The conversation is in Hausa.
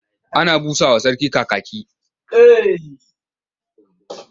Ana busa wa Sarki Kakaki.